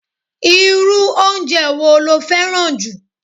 Irú oúnje wo lo féràn ju?